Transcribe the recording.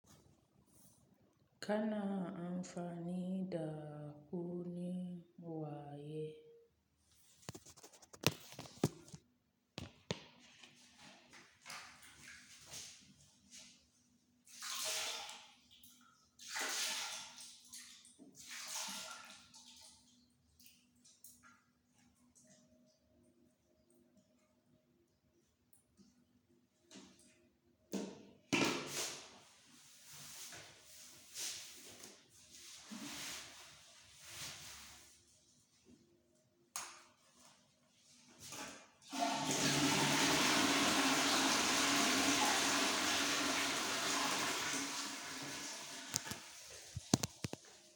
Kana amfani da kunne waye.